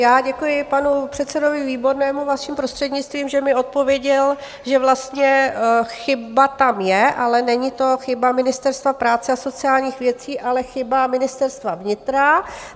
Já děkuji panu předsedovi Výbornému, vaším prostřednictvím, že mi odpověděl, že vlastně chyba tam je, ale není to chyba Ministerstva práce a sociálních věcí, ale chyba Ministerstva vnitra.